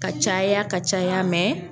Ka caya ka caya